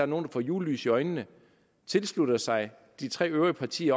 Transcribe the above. nogle får julelys i øjnene tilslutter sig de tre øvrige partiers